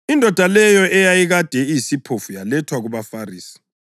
Indoda leyo eyayikade iyisiphofu yalethwa kubaFarisi.